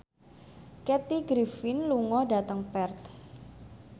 Kathy Griffin lunga dhateng Perth